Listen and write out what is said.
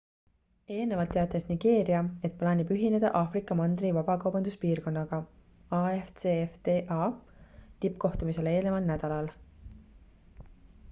eelnevalt teatas nigeeria et plaanib ühineda aafrika mandri vabakaubanduspiirkonnaga afcfta tippkohtumisele eelneval nädalal